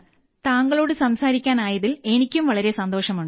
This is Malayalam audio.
താങ്കളോട് സംസാരിക്കാനായതിൽ എനിക്കും വളരെ സന്തോഷമുണ്ട്